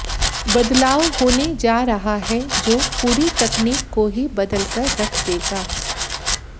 बदलाव होने जा रहा है जो पूरी तकनीक को ही बदलकर रख देगा